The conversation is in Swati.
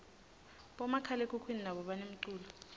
bomakhalekhukhwini nabo banemculo